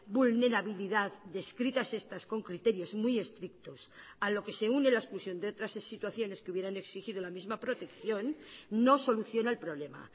vulnerabilidad descritas estas con criterios muy estrictos a lo que se une la exclusión de otras situaciones que hubieran exigido la misma protección no soluciona el problema